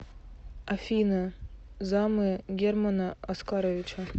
афина замы германа оскаровича